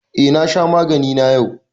Eh, na sha magani na yau.